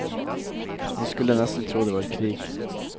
Man skulle nesten tro det var krig.